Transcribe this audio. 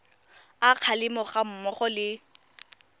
a kgalemo ga mmogo le